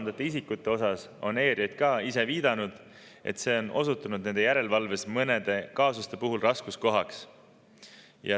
ERJK on ise viidanud, et kolmandate isikute üle järelevalve on osutunud mõnede kaasuste puhul raskuskohaks.